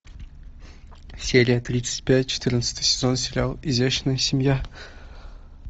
серия тридцать пять четырнадцатый сезон сериал изящная семья